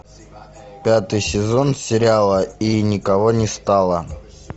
пятый сезон сериала и никого не стало